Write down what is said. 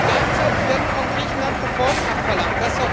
Gleichzeitig werden von Griechenland Reformen abverlangt